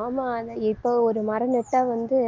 ஆமா ஆனா இப்போ ஒரு மரம் நட்டா வந்து